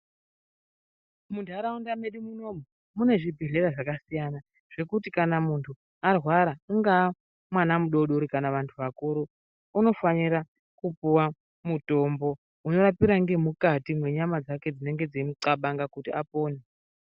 Muntaraunda medu munomu mune zvibhedhlera zvasiyana zvekuti kana muntu arwara ungaa mwana mudodori kana vantu vakuru unofanira kupuwa mutombo unorapira ngekati mwenyama dzake dzinenge dzeimunxabanga kuti apone.